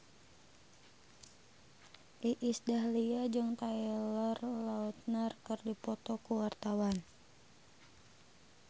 Iis Dahlia jeung Taylor Lautner keur dipoto ku wartawan